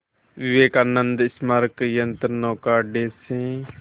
विवेकानंद स्मारक यंत्रनौका अड्डे से